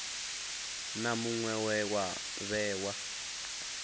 na muṅwe we wa vhewa